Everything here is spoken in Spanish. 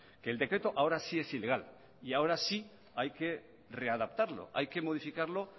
que el decreto ahora sí es ilegal y ahora sí hay que readaptarlo hay que modificarlo